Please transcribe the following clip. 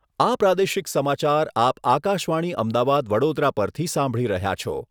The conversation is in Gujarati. આ પ્રાદેશિક સમાચાર આપ આકાશવાણી અમદાવાદ વડોદરા પરથી સાંભળી રહ્યા છો